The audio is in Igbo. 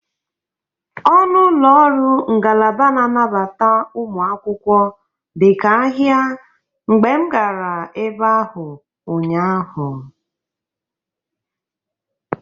Ọnụ ụlọ ọrụ ngalaba na-anabata ụmụ akwụkwọ dịka ahịa mgbe m gara ebe ahụ ụnyaahụ.